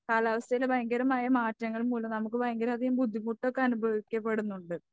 കാലാവസ്ഥയിലെ ഭയങ്കരമായ മാറ്റങ്ങൾ മൂലം നമുക്ക് ഭയങ്കര അധികം ബുദ്ധിമുട്ടൊക്കെ അനുഭവിക്കപ്പെടുന്നുണ്ട്.